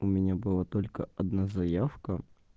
у меня была только одна заявка